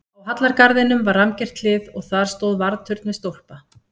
Á hallargarðinum var rammgert hlið og þar stóð varðturn við stólpa.